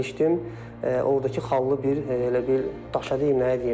Ordakı xallı bir elə bil daşadı, deməyim nəyi deyim.